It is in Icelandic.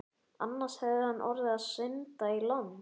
Annars hefði hann orðið að synda í land.